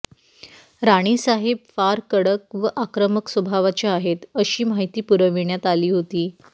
राणी साहेब फार कडक व आक्रमक स्वभावाच्या आहेत अशी माहिती पुरविण्यात आली होती